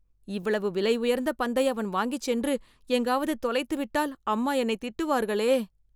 இவ்வளவு விலை உயர்ந்த பந்தை அவன் வாங்கிச் சென்று எங்காவது தொலைத்துவிட்டால் அம்மா என்னை திட்டுவார்களே..